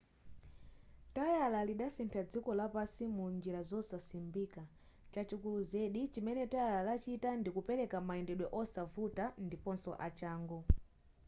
tayala lidasintha dziko lapansi munjira zosasimbika chachikulu zedi chimene tayala lachita ndikupereka mayendedwe osavuta ndiponso achangu